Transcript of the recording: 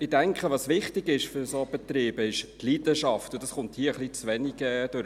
Ich denke, was wichtig ist für solche Betriebe, ist die Leidenschaft, und dies kommt hier etwas zu wenig durch.